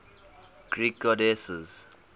greek goddesses